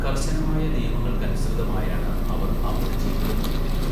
കർശനമായ നിയമങ്ങൾക്കനുസൃതമായാണ് അവർ അവരുടെ ജീവിതം നയിക്കുന്നത്.